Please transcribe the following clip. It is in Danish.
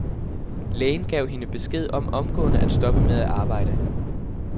Lægen gav hende besked om omgående at stoppe med at arbejde.